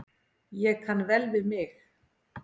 Ég kann vel við mig.